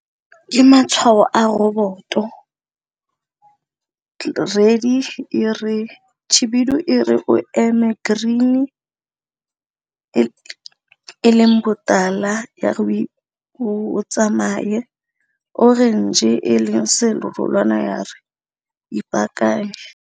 Ke matshwao a roboto, khibidu e re o eme, green e e leng botala o tsamaye, orange e leng serolwana ya re ipaakanye.